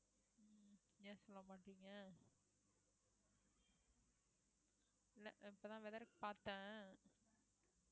ஏன் சொல்ல மாட்டீங்க இல்ல இப்பதான் weather பார்த்தேன்